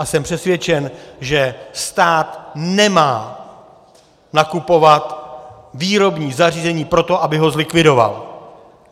A jsem přesvědčen, že stát nemá nakupovat výrobní zařízení proto, aby ho zlikvidoval.